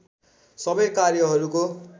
सबै कार्यहरूको